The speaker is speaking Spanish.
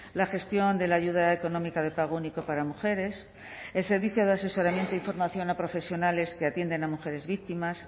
la gestión de la ayuda económica de pago único para mujeres el servicio de asesoramiento y formación a profesionales que atienden a mujeres víctimas